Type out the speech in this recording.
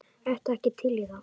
Ertu ekki til í það?